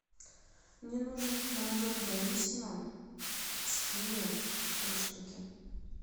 мне нужен творожок даниссимо с киви три штуки